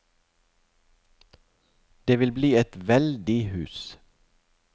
Det vil bli et veldig hus.